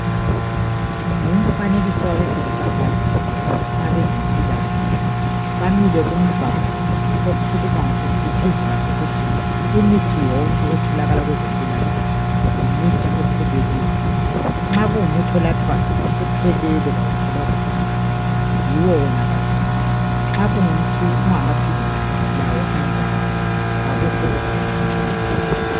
Ngumfanekiso wabesilisa ababili abezempikakahle bamile kumbalo okhuluma ufithizela ngokuthi imithi yonke etholakala kwezempilakahle yimithi epheleleyo nxa kungumuthi onathwayo uphelele awuthelwanga amanzi yiwo wona kanye kanye nxa kungamaphilisi lawo anjalo akukho okuphunguliweyo kuwo